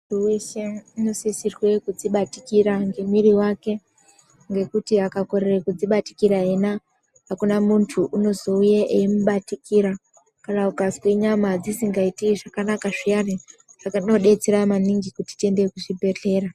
Munhu wese unosirwa kuzvibatikira nemuiiri wake ngekuti akakonewa kuzvibatikira yena hakuna muntu unozowuye emubatikira kana ukazwa nyama dzisingaite zvakanaka zviya zvinodetsera maningi kuti tiende kuzvibhedleya.